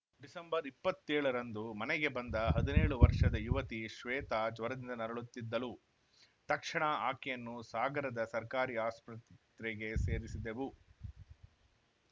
December ಇಪ್ಪತ್ತೇಳರಂದು ಮನೆಗೆ ಬಂದ ಹದಿನೇಳು ವರ್ಷದ ಯುವತಿ ಶ್ವೇತಾ ಜ್ವರದಿಂದ ನರಳುತ್ತಿದ್ದಳು ತಕ್ಷಣ ಆಕೆಯನ್ನು ಸಾಗರದ ಸರ್ಕಾರಿ ಆಸ್ಪತ್ರೆಗೆ ಸೇರಿಸಿದೆವು